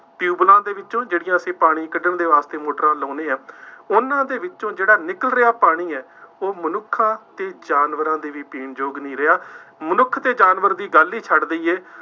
ਟਿਊਬੈੱਲਾਂ ਦੇ ਵਿੱਚੋਂ, ਜਿਹੜੀਆਂ ਅਸੀਂ ਪਾਣੀ ਕੱਢਣ ਦੇ ਵਾਸਤੇ ਮੋਟਰਾਂ ਲਾਉਂਦੇ ਹਾਂ, ਉਹਨਾ ਦੇ ਵਿੱਚੋਂ ਜਿਹੜਾ ਨਿਕਲ ਰਿਹਾ ਪਾਣੀ ਹੈ, ਉਹ ਮਨੁੱਖਾਂ ਅਤੇ ਜਾਨਵਰਾਂ ਦੇ ਲਈ ਪੀਣ ਯੋਗ ਨਹੀਂ ਰਿਹਾ। ਮਨੁੱਖ ਅਤੇ ਜਾਨਵਰ ਦੀ ਗੱਲ ਹੀ ਛੱਡ ਦੇਈਏ।